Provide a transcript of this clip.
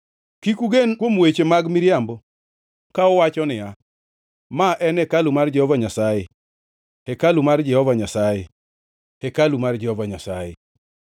Kik ugen kuom weche mag miriambo ka uwacho niya, “Ma en hekalu mar Jehova Nyasaye, hekalu mar Jehova Nyasaye, hekalu mar Jehova Nyasaye!”